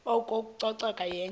oko ucoceko yenye